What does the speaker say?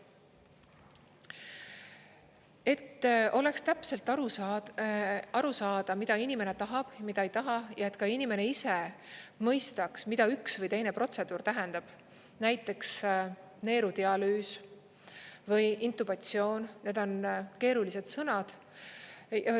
Et oleks täpselt aru saada, mida inimene tahab, mida ei taha ja et ka inimene ise mõistaks, mida üks või teine protseduur tähendab – näiteks neerudialüüs või intubatsioon –, need on keerulised sõnad.